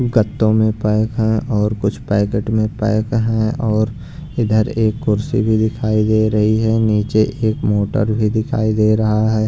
गत्तों में पैक है और कुछ पैकेट में पैक हैं और इधर एक कुर्सी भी दिखाई दे रही है नीचे एक मोटर भी दिखाई दे रहा है।